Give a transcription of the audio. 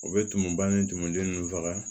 U bɛ tumuba ni tumuden ninnu faga